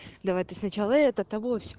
давай ты сначала это того всё